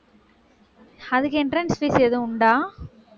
அதுக்கு entrance fees எதுவும் உண்டா